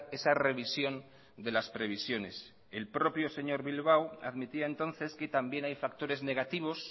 esa revisión de las previsiones el propio señor bilbao admitía entonces que también hay factores negativos